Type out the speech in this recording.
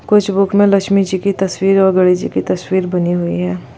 कुछ बुक में लक्ष्मी जी की तस्वीर और गणेश जी की तस्वीर बनी हुई हैं।